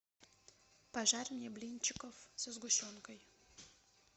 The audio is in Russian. пожарь мне блинчиков со сгущенкой